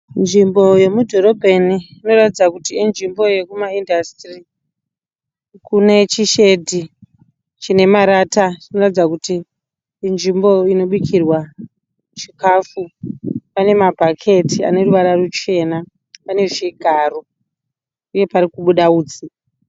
Nzvimbo yemudhorobheni inoratidza kuti inzvimbo yekumaindasitiri. Kune chishedhi chine marata chinoratidza kuti inzvimbo inobikirwa chikafu. Pane mabhaketi ane ruvara ruchena . Pane zvigaro uye parikubuda hutsi.